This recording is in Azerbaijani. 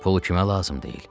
Pulu kimə lazım deyil?